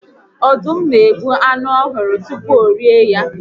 Ọdụm n'egbu anụ ọhụrụ tupu orie ya